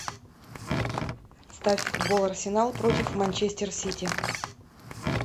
ставь футбол арсенал против манчестер сити